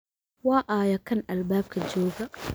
Waa ayo kan albaabka jooga?